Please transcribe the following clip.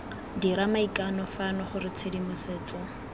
dira maikano fano gore tshedimosetso